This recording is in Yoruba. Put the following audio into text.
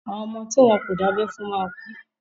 Àwọn ọmọ tí wọ́n kò dábẹ́ fún máa kú.